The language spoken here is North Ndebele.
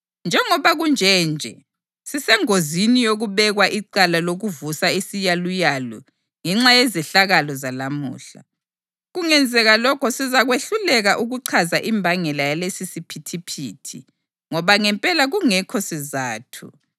Njengoba kunje nje sisengozini yokubekwa icala lokuvusa isiyaluyalu ngenxa yezehlakalo zalamuhla. Kungenzeka lokho sizakwehluleka ukuchaza imbangela yalesisiphithiphithi, ngoba ngempela kungekho sizatho.”